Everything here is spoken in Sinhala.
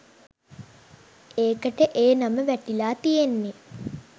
ඒකට ඒ නම වැටිලා තියෙන්නේ